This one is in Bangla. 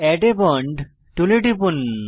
এড a বন্ড টুলে টিপুন